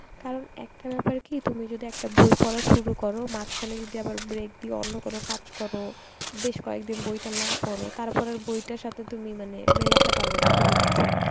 কারণ একটা ব্যাপার কি তুমি যদি একটা বই পড়া শুরু করো মাঝখানে যদি আবার break দিয়ে অন্য কোন কাজ করো, বেশ কয়েকদিন বইটা না পড়ো তারপরে আর বইটার সাথে তুমি মানে মেলাতে পারবা না কোন কিছুই